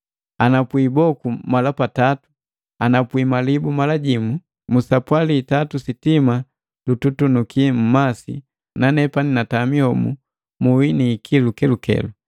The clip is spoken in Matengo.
Anapwi iboku mala patatu, anapwi malibu mala jimu, musapwali itatu sitima lututunuki mmasi na nepani natami homu muhi na ikilu kelukelu,